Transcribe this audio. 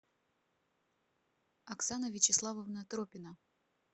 оксана вячеславовна тропина